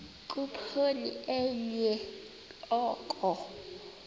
khuphoni enye oko